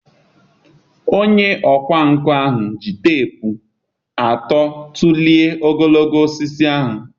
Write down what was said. Onye ọkwá nkà ahụ ji teepu atụ tụlee ogologo osisi ahụ